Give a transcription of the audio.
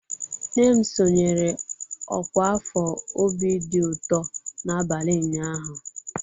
Nne m sonyeere ọkwa afọ obi dị ụtọ n'abalị ụnyaahụ.